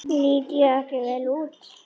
Lít ég ekki vel út?